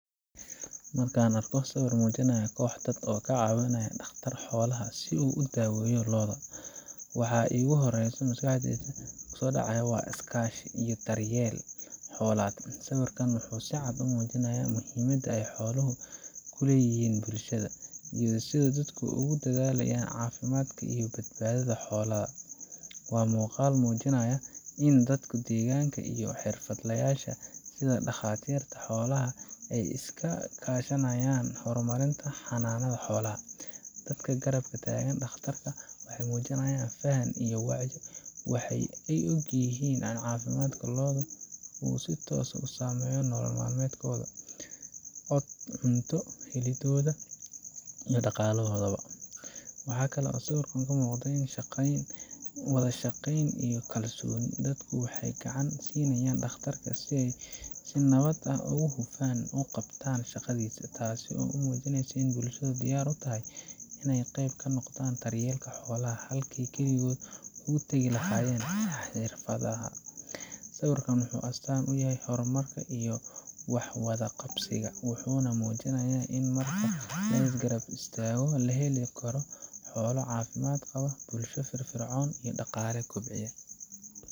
Marka aan arko sawir muujinaya koox dad ah oo caawinaya dhakhtar xoolaha si uu u daweeyo lo’da, waxa iigu horreeya maskaxda waa iskaashi iyo daryeel xoolaad. Sawirkan wuxuu si cad u muujinayaa muhiimadda ay xooluhu ku leeyihiin bulshada, iyo sida dadku ugu dadaalayaan caafimaadka iyo badbaadada xoolahooda. Waa muuqaal muujinaya in dadka deegaanka iyo xirfadlayaasha sida dhakhaatiirta xoolaha ay iska kaashanayaan horumarinta xanaanada xoolaha. Dadka garab taagan dhakhtarka waxay muujinayaan faham iyo wacyi waxa ay og yihiin in caafimaadka lo’da uu si toos ah u saameeyo nolol maalmeedkooda, cunto heliddooda, iyo dhaqaalahooda bo. Waxaa kale oo sawirkan ka muuqda wada shaqeyn iyo kalsooni. Dadku waxay gacan siinayaan dhakhtarka si ay si nabad ah oo hufan u qabto shaqadiisa, taasoo muujinaysa in bulshadu diyaar u tahay in ay qayb ka noqoto daryeelka xoolaha, halkii ay keligood uga tagi lahaayeen xirfadlaha. Sawirkan wuxuu astaan u yahay horumar iyo wax wada qabsiga, wuxuuna muujinayaa in marka la is garab istaago, la heli karo xoolo caafimaad qaba, bulsho firfircoon, iyo dhaqaale kobcaya.